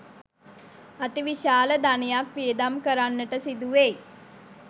අතිවිශාල ධනයක් වියදම් කරන්නට සිදුවෙයි.